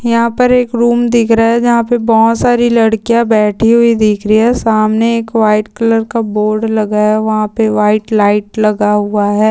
यहा पर एक रूम दिख रहा है जहा पे बहुत सारी लड्कीया बैठी हुई दिख रही है सामने एक व्हाइट कलर का बोर्ड लगाया है वहा पे व्हाइट लाइट लगा हुआ है।